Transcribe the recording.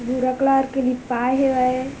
भुरा कलर के लिपाय हेवय।